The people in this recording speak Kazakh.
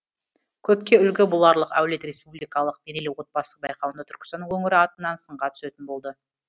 көпке үлгі боларлық әулет республикалық мерейлі отбасы байқауында түркістан өңірі атынан сынға түсетін болды